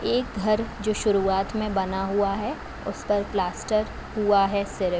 एक घर जो शुरुआत में बना हुआ है। उस पर प्लास्टर हुआ है सिर्फ।